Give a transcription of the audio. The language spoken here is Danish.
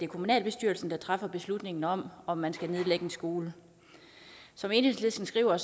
kommunalbestyrelsen der træffer beslutningen om om man skal nedlægge en skole som enhedslisten skriver